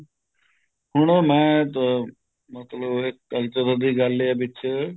ਹੁਣ ਉਹ ਮੈਂ ਅਹ ਮਤਲਬ ਇਹ culture ਦੀ ਗੱਲ ਇਹ ਹੈ ਵਿੱਚ